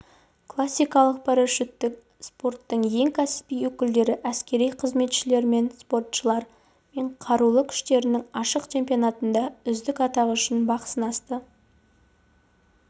классикалық парашюттік спорттың ең кәсіби өкілдері әскери қызметшілер мен спортшылар мен қарулы күштерінің ашық чемпионатында үздік атағы үшін бақ сынасты